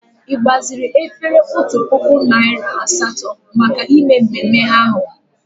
Ị gbaziri otu puku efere na narị asatọ maka mmemme ahụ?